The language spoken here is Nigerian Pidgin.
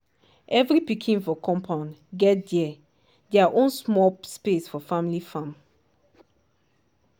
every pikin for compound get there there own small space for family farm.